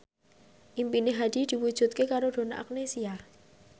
impine Hadi diwujudke karo Donna Agnesia